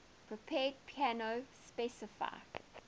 prepared piano specify